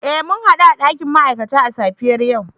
Eh mun hadu a dakin ma'aikata a safiyar yau